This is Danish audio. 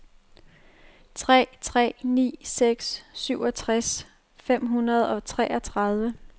tre tre ni seks syvogtres fem hundrede og toogtredive